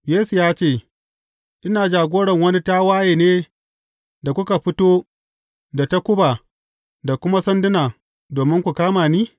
Yesu ya ce, Ina jagoran wani tawaye ne da kuka fito da takuba da kuma sanduna domin ku kama ni?